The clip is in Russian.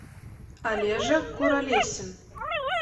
олежа куралесин